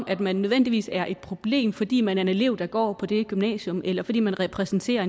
at man nødvendigvis er et problem fordi man er en elev der går på det gymnasium eller fordi man repræsenterer